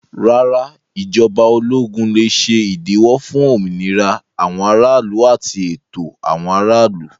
Rárá, ìjọba ológun lè ṣe ìdíwọ́ fún òmìnira àwọn aráàlú àti ẹ̀tọ́ àwọn aráàlú.